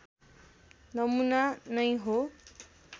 नमुना नै हो